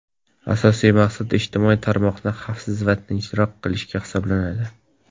Asosiy maqsad ijtimoiy tarmoqni xavfsiz va tinchroq qilish hisoblanadi.